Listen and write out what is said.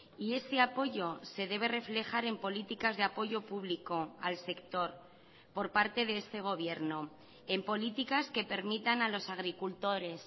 y ese apoyo se debe reflejar en políticas de apoyo público al sector por parte de este gobierno en políticas que permitan a los agricultores